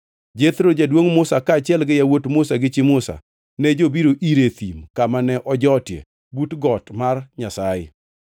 Jethro, jaduongʼ Musa, kaachiel gi yawuot Musa gi chi Musa, ne jobiro ire e thim kama ne ojotie but got mar Nyasaye.